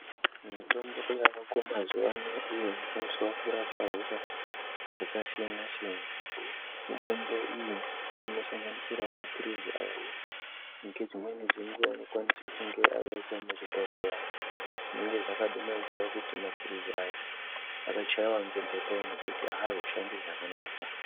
Mitombo yavako mazuwano iyo inoshandiswa kurapa hosha dzakasiyana siyana mitombo iyi inosanganisirawo mapirizi ayo ngedzimweni dzenguwa anokwanisa kunge akaiswa muzvibhodhleya zvinenge zvakadumaidzwa kuti mapirizi aya asachaiwa ngemphepo nokuti azoshandi zvakanaka.